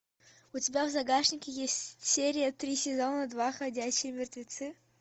у тебя в загашнике есть серия три сезона два ходячие мертвецы